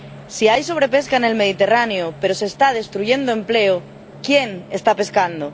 Si hay sobrepesca en el Mediterráneo pero se está destruyendo empleo, ¿quién está pescando?